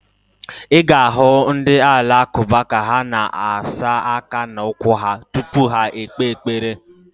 Ị ga-ahụ ndị Alakụba ka ha na-asa aka na ụkwụ ha tupu ha ekpe ekpere.